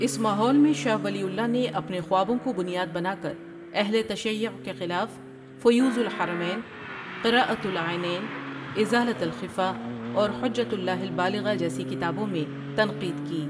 اس ماحول میں شاہ ولی اللہ نے اپنے خوابوں کو بنیاد بنا کر اہل تشیع کے خلاف فیوض الحرمین ، قراۃ العینین ، ازالۃ الخفا اور حجۃ اللہ البالغہ جیسی کتابوں میں تنقید کی ۔